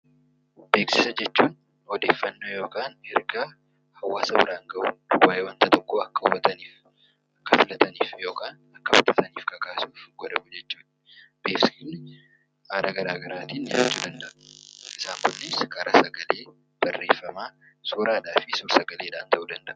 Beeksisa jechuun odeeffannoo yookaan ergaa hawaasa biraan gahuu waa'ee wanta tokko akka hubataniif akka fudhataniif kakaasuu. Beeksisni haala garaagaraatiin qophaa'uu danda'a. Isaan kunis karaa sagalee, barreeffamaa , suuraa fi suur-sagaleen ta'uu danda'a.